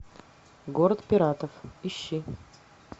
город пиратов ищи